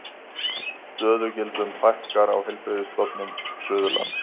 Stöðugildum fækkar á Heilbrigðisstofnun Suðurlands